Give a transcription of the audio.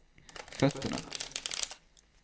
fötterna